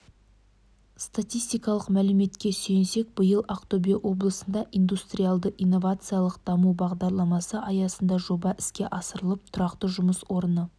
статистикалық мәліметке сүйенсек биыл ақтөбе облысында индустриялды-инновациялық даму бағдарламасы аясында жоба іске асырылып тұрақты жұмыс орны